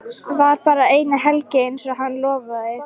Var bara eina helgi einsog hann lofaði.